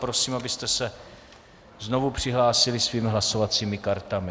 Prosím, abyste se znovu přihlásili svými hlasovacími kartami.